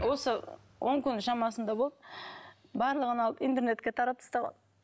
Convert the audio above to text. осы он күн шамасында болды барлығын алып интернетке таратып тастаған